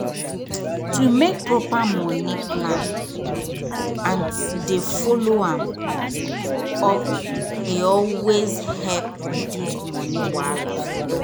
to dey make proper money plan and to dey follow am up dey always help reduce money wahala for long.